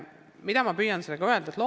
Mida ma püüan sellega öelda?